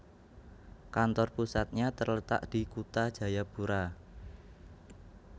Kantor pusatnya terletak di Kutha Jayapura